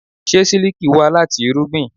Ṣé sílíkì wá láti irúgbìn?